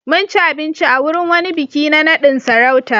Mun ci abinci a wurin wani biki na naɗin sarauta.